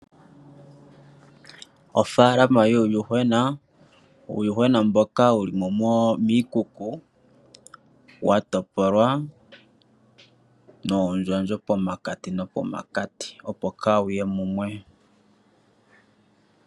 Ofaalama yuuyuhwena, uuyuhwena mboka wulimo miikuku watopolwa noondjandjo pomakati nomakati opo kawuye mumwe.